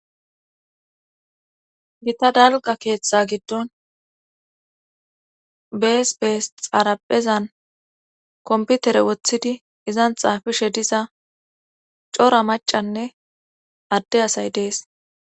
Gita dalqa keeththa giddon bees bees xaraphezan komputere wothidi izan xaafishe diza cora macanne adde asay dees.